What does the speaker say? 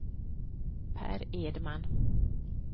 Pär Edman